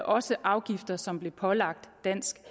også afgifter som blev pålagt dansk